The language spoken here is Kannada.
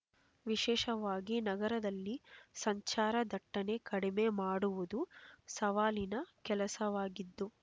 ವಿಶೇಷವಾಗಿ ನಗರದಲ್ಲಿ ಸಂಚಾರ ದಟ್ಟಣೆ ಕಡಿಮೆ ಮಾಡುವುದು ಸವಾಲಿನ ಕೆಲಸವಾಗಿದ್ದು